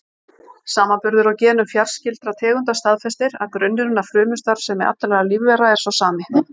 Samanburður á genum fjarskyldra tegunda staðfestir að grunnurinn að frumustarfsemi allra lífvera er sá sami.